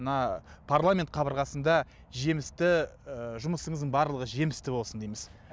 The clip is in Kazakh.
мына парламент қабырғасында жемісті ы жұмысыңыздың барлығы жемісті болсын дейміз